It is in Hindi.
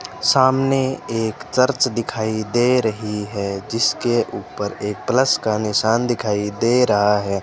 सामने एक चर्च दिखाई दे रहीं हैं जिसके ऊपर एक प्लस का निशान दिखाई दे रहा हैं।